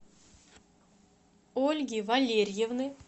ольги валерьевны